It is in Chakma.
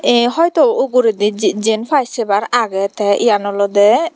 ei hoito uguredi ji jiyenpai sebar agey te eban olode.